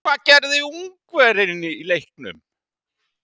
Hvað gerir Ungverjinn í leiknum?